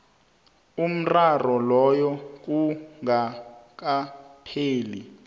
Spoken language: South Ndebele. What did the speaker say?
umraro loyo kungakapheli